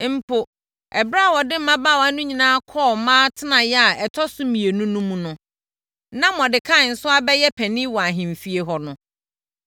Mpo, ɛberɛ a wɔde mmabaawa no nyinaa kɔɔ mmaa atenaeɛ a ɛtɔ so mmienu no mu no, na Mordekai nso abɛyɛ panin wɔ ahemfie hɔ no,